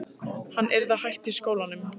Hann yrði að hætta í skólanum!